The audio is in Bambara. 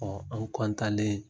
Ɔ an len